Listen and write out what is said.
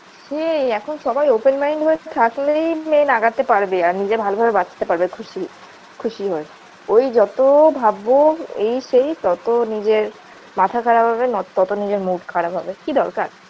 সেই এখন সবাই open mind হয় থাকলেই main আগাতে পারবে আর নিজে ভালো ভাবে বাঁচতে পারবে খুশি খুশি হয়ে ওই যত ভাববো এই সেই ততো নিজের মাথা খারাপ হবে ন ততো নিজের mood খারাপ হবে কি দরকার